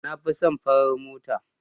Na fi son farar mota.